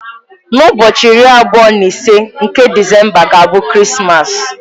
N'ụbọchị iri abụọ na ise nke Disemba ga-abụ Krismas.